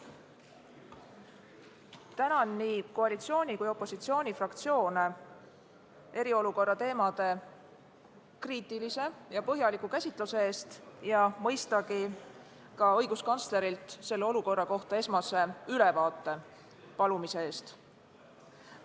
Tänan nii koalitsiooni kui ka opositsiooni fraktsioone eriolukorra teemade kriitilise ja põhjaliku käsitluse eest ja mõistagi ka õiguskantslerilt selle olukorra kohta esmase ülevaate palumise eest!